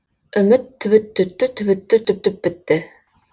үміт түбіт түтті түбітті түтіп бітті